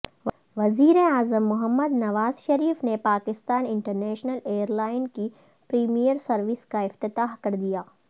وزیراعظم محمد نواز شریف نے Pakistan international airline کی پریمیئر سروس کا افتتاح کردیا